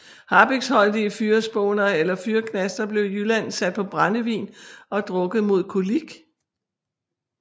Harpiksholdige fyrrespåner eller fyrreknaster blev i Jylland sat på brændevin og drukket mod kolik